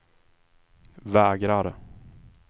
vägrar